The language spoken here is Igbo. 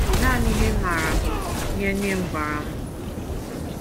Nanị ihe m maara bụ ihe nne m gwara m.